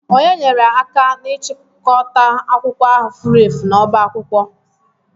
Ònye nyere aka n'ịchọta akwụkwọ ahụ furu efu n'ọbá akwụkwọ?